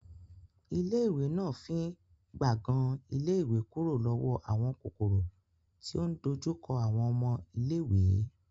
Ilé ìwé náà fín gbàngan ilé ìwé kúrò lọ́wọ́ àwọn kòkòrò tí ò ń dojú kọ àwọn ọmọ iléèwé